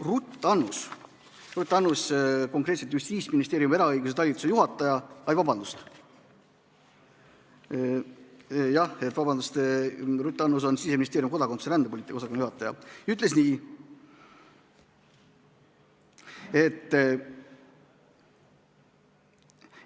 Ruth Annus, Justiitsministeeriumi eraõiguse talituse juhataja – oi, palun vabandust, Ruth Annus on Siseministeeriumi kodakondsus- ja rändepoliitika osakonna juhataja –, ütles nii,